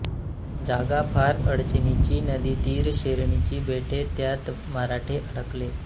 जागा फार अडचणीची नदीतीर शेरणीची बेटे त्यांत मराठे अडकले